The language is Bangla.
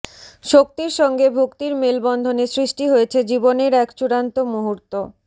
শক্তির সঙ্গে ভক্তির মেলবন্ধনে সৃষ্টি হয়েছে জীবনের এক চূড়ান্ত মুহূর্ত